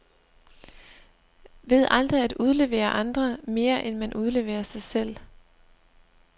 Ved aldrig at udlevere andre, mere end man udleverer sig selv.